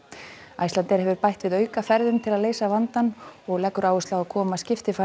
Icelandair hefur bætt við til að leysa vandann og leggur áherslu á að koma